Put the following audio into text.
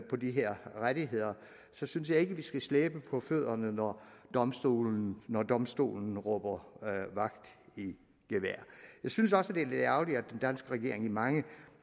på de her rettigheder synes jeg ikke vi skal slæbe på fødderne når domstolen når domstolen råber vagt i gevær jeg synes også at det er lidt ærgerligt at den danske regering i mange